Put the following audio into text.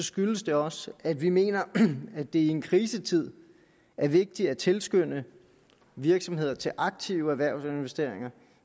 skyldes det også at vi mener at det i en krisetid er vigtigt at tilskynde virksomheder til aktive erhvervsinvesteringer